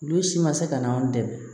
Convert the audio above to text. Olu si ma se ka na anw dɛmɛ